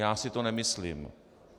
Já si to nemyslím.